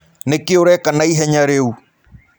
Nĩkĩ ũreka naĩhenya rĩũ?